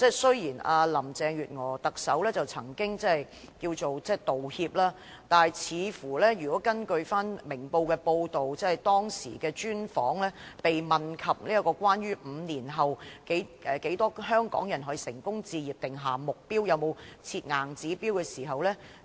雖然特首林鄭月娥後來作出道歉，但根據《明報》該篇專訪，她被問及會否就香港人在5年內成功置業的數字定下目標，以及有否設定硬指標。